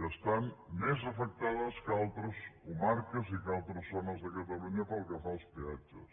que estan més afectades que altres comarques i que altres zones de catalunya pel que fa als peatges